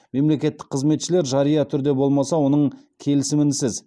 мемлекеттік қызметшілер жария түрде болмаса оның келісімінсіз